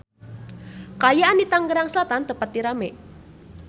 Kaayaan di Tangerang Selatan teu pati rame